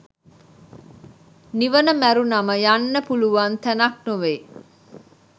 නිවන මැරුණම යන්න පුලුවන් තැනක් නෙවෙයි